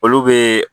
Olu bɛ